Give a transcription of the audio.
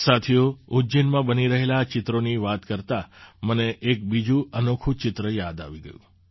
સાથીઓ ઉજ્જૈનમાં બની રહેલાં આ ચિત્રોની વાત કરતાં મને એક બીજું અનોખું ચિત્ર યાદ આવી ગયું